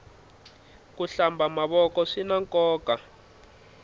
ku hlamba mavoko swinankoka